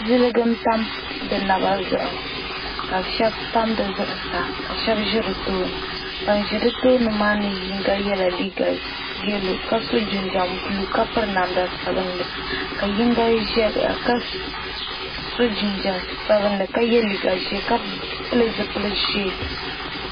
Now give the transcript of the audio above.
Ziliji n tam di naba zuɣu ka shabi tam dizuɣu saa ka shabi ʒi bɛ tooni ban ʒi di tooni maa , sɔ yela liiga yelɔw kasɔ jinjam blue ka piri namda sabinli, ka yiŋga ʒɛya kasɔ jinjam sabinli. ka ye liiga ʒɛɛ ka pili zipili ʒɛɛ.